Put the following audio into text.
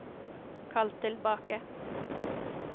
kall tilbake